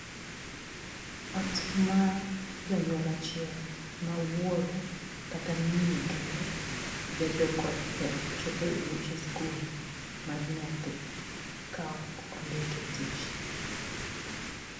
Ot mar janyuol achiel, ma wuoro kata miyo kende, bedo kod pek chopo e buche skul mar nyathi ka ondike e tich.